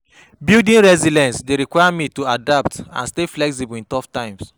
Building resilience dey require me to adapt and stay flexible in tough times.